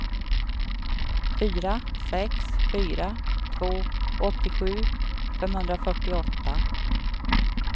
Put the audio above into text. fyra sex fyra två åttiosju femhundrafyrtioåtta